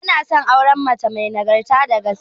Ina son auren mace may nagarta da gaskiya